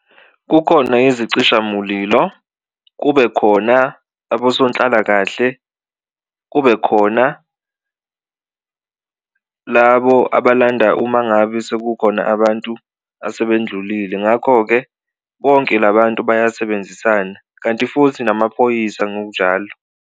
Kukhona bezicishamulilo, kube khona abosonhlalakahle, kube khona labo abalanda uma ngabe sekukhona abantu asebendlulile. Ngakho-ke bonke la bantu bayasebenzisana kanti futhi namaphoyisa ngokunjalo.